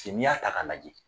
n'i y'a ta k'a lajɛ